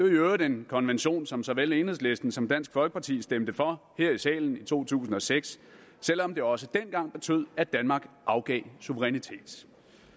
øvrigt en konvention som såvel enhedslisten som dansk folkeparti stemte for her i salen i to tusind og seks selv om det også dengang betød at danmark afgav suverænitet